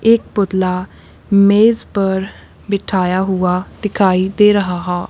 एक पुतला मेज पर बिठाया हुआ दिखाई दे रहाहा--